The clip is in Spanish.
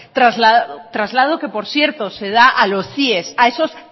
traslado que por cierto se da a los cie a esos